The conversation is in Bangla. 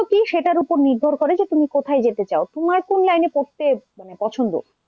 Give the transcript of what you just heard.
কি সেইটার উপর নির্ভর করে যে তুমি কোথায় যেতে চাও তোমার কোন line এ পড়তে মানে পছন্দ?